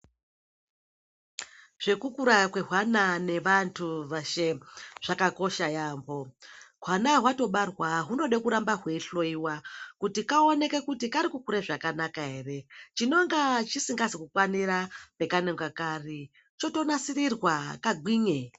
Zvekukura kwehwana nevantu veshe zvakakosha yaambo. Hwana hwatobarwa hunode kuramba hweihloyiwa kuti kaoneke kuti karikukure zvakanaka here. Chinonga chisingazi kukwanira pekanonga kari chotonasirirwa kagwinye.